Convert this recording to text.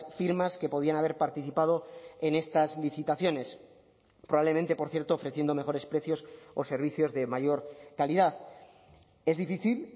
firmas que podían haber participado en estas licitaciones probablemente por cierto ofreciendo mejores precios o servicios de mayor calidad es difícil